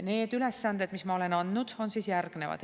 Need ülesanded, mis ma olen andnud, on järgnevad.